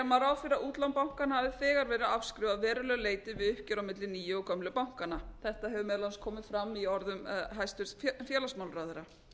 fyrir að útlán bankanna hafi þegar verið afskrifað að verulegu getu við uppgjör á milli nýju og gömlu bankanna þetta hefur meðal annars komið fram í orðum hæstvirts félagsmálaráðherra